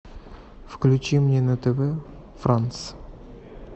включи мне на тв франс